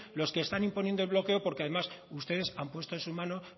los que están imponiendo el bloqueo porque además ustedes han puesto en su mano